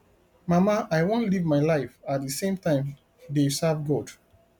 mama i wan live my life at the same time dey serve god